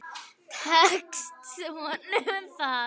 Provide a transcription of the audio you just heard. Tekst honum það?